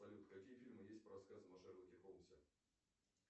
салют какие фильмы есть по рассказам о шерлоке холмсе